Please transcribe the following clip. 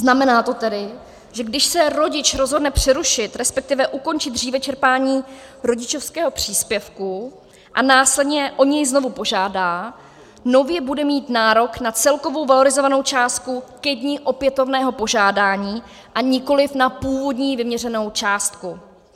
Znamená to tedy, že když se rodič rozhodne přerušit, respektive ukončit dříve čerpání rodičovského příspěvku a následně o něj znovu požádá, nově bude mít nárok na celkovou valorizovanou částku ke dni opětovného požádání, a nikoli na původní vyměřenou částku.